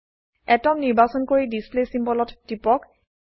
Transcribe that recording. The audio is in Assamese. আতম নিৰ্বাচন কৰি ডিছপ্লে চিম্বল ত টিপক